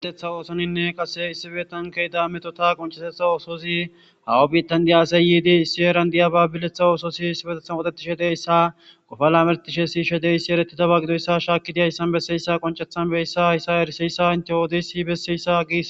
giletha oosoninne qase issibeetan keyda meto ta qoncesetha oososi hawa biittan diyaasayyiidi issi eran diya baabiletha oososi issibetethan woodetishe deyssa gofala mertishe siishe deyssi eretidaba gidoyssa shaakidiyayssan besseyssa qoncethan beyssa hayssa eriseyssa intewoodisibessiyssa gis